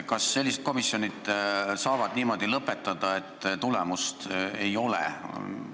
Kas sellised komisjonid saavad niimoodi oma töö lõpetada, et tulemust ei ole?